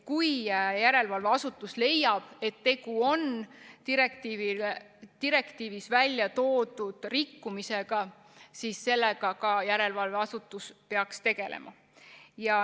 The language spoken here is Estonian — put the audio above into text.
Kui järelevalveasutus leiab, et tegu on direktiivis välja toodud rikkumisega, siis sellega järelevalveasutus peaks ka tegelema.